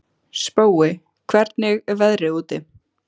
Spói, hvernig er veðrið úti?